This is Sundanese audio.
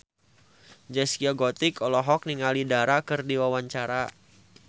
Zaskia Gotik olohok ningali Dara keur diwawancara